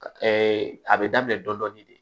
a bɛ daminɛ dɔɔnin de